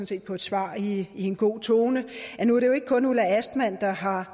set på et svar i en god tone at nu er det jo ikke kun ulla astman der har